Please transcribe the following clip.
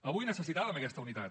avui necessitàvem aquesta unitat